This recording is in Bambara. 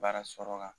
Baara sɔrɔ kan